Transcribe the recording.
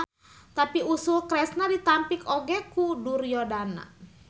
Tapi usul Kresna ditampik oge ku Duryodana.